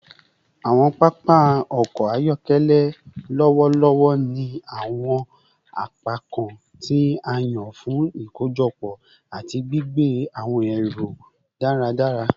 Awọn papa ọkọ ayọkẹlẹ lọwọlọwọ ni awọn apakan ti a yan fun ikojọpọ ati gbigbe awọn ẹru daradara